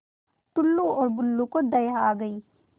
टुल्लु और बुल्लु को दया आ गई